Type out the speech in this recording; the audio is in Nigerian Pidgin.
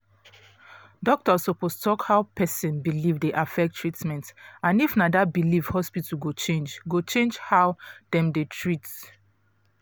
doctor suppose talk how person belief dey affect treatment and if na that belief hospital go change go change how dem dey treat